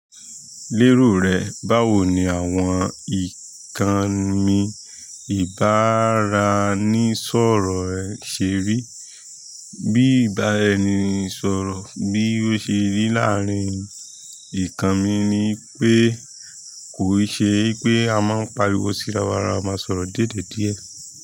Lérò rẹ, báwo ni àwọn ìkànnì ìbára ẹni sọ̀rọ̀ ẹ̀ ṣe rí? Bí ìbára ẹni sọ̀rọ̀ bí ó ṣe rí láàárín ìkànnì mi ni pé kò ṣe pé a máa ń pariwo sí ara wa, a máa ń sọ̀rọ̀ díẹ̀díẹ̀.